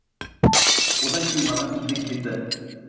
одан кейін маған кезек келді